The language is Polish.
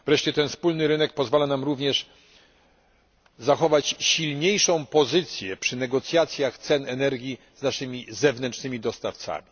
Wreszcie ten wspólny rynek pozwala nam również zachować silniejszą pozycję przy negocjacjach cen energii z zewnętrznymi dostawcami.